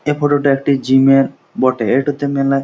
এই ফটো টা একটি জিমের বটে এটোতে মেলা --